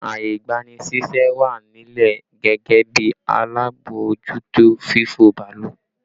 Ààyè ìgbani ṣíṣẹ́ wà nílẹ̀ gẹ́gẹ́ bí alábòójútó fífò bàálù